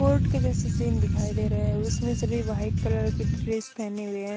Court के जेसे तिन दिखाई देरे उसमे सभी वाइट कलर के ड्रेस पेने हुए है।